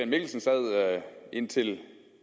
mikkelsen sad indtil